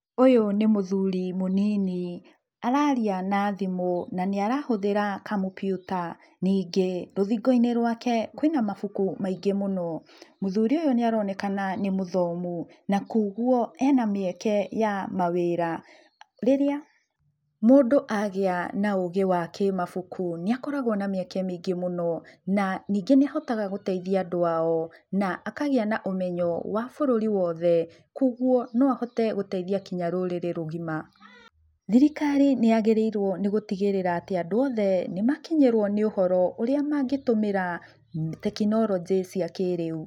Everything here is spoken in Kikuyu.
Ũyũ nĩ mũthuri mũnini, araria na thimũ na nĩ arahũthĩra kompiuta . Ningĩ rũthingo-inĩ rũake kũĩ na mabuku maingĩ mũno. Mũthuri ũyũ nĩaronekana nĩ mũthomu, na kuoguo ena mĩeke ya mawĩra. Rĩrĩa mũndũ agĩa na ũgĩ wa kĩmabuku nĩagĩaga na mĩeke mĩingi mũno na ningĩ nĩahotaga gũteithia andũ ao na akagĩa na ũmenyo wa bũrũri wothe kuoguo no ahote guteithia kinya rũrĩrĩ rũgima. Thirikari nĩ yagĩrĩirũo nĩ gũtigĩrĩra atĩ andũ othe nĩ makinyĩrũo nĩ ũhoro ũrĩa mangĩtũmĩra tekinoronjĩ cia kĩ-rĩu.